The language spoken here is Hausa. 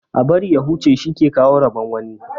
Ã bari ya huche shi ke kawo rabon wani.